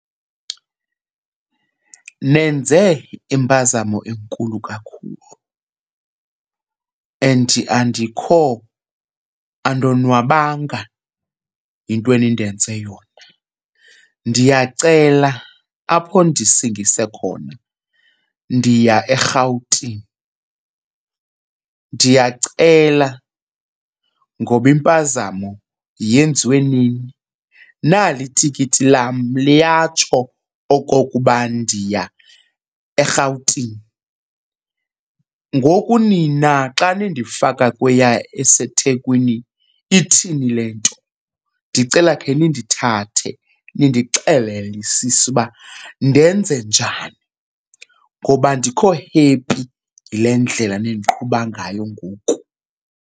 Nenze impazamo enkulu kakhulu and andikho andonwabanga yinto enindenze yona. Ndiyacela apho ndisingise khona ndiya eRhawutini. Ndiyacela ngoba impazamo yenziwe nini. Nali tikiti lam liyatsho okokuba ndiya eRhawutini. Ngoku nina xa nindifaka kweya eseThekwini, ithini le nto? Ndicela khe nindithathe nindixelelisise uba ndenze njani ngoba andikho happy yile ndlela nindiqhuba ngayo ngoku.